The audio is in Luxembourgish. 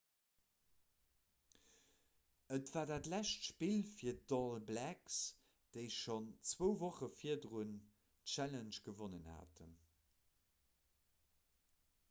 et war dat lescht spill fir d'all blacks déi schonn zwou woche virdrun d'challenge gewonnen haten